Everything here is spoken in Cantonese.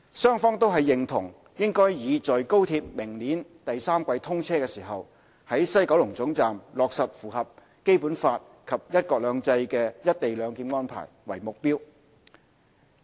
雙方均認同應以在高鐵明年第三季通車時，於西九龍總站落實符合《基本法》及"一國兩制"的"一地兩檢"安排為目標。